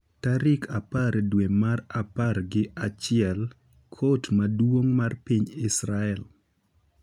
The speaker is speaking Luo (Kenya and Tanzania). Tarik apar dwe mar apar gi achiel, Kot Maduong’ mar piny Israel